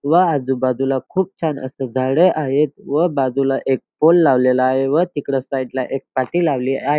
व आजूबाजूला खूप छान असं झाड आहेत व बाजूला एक पूल लावलेला आहे व तिकडे साइड ला एक पाटी लावलेली आहे.